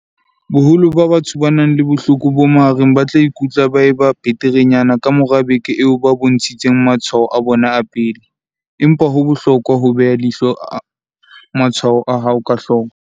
Boholo ba batho ba nang le bohloko bo mahareng ba tla ikutlwa ba eba beterenyana ka mora beke eo ba bontshitseng matshwao a bona a pele, empa ho bohlokwa ho beha leihlo matshwao a hao ka hloko.